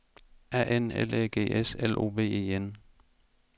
A N L Æ G S L O V E N